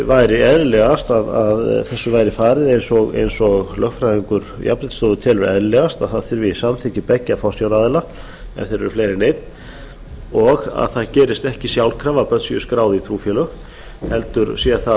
væri eðlilegast að þessu væri farið eins og lögfræðingur jafnréttisstofu telur eðlilegast að það þurfi samþykki beggja forsjáraðila ef þeir eru fleiri en einn og að það gerist ekki sjálfkrafa að börn séu skráð í trúfélög heldur sé